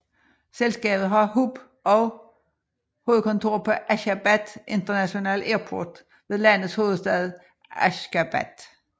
Selskabet har hub og hovedkontor på Ashgabat International Airport ved landets hovedstad Asjkhabad